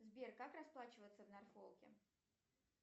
сбер как расплачиваться в норфолке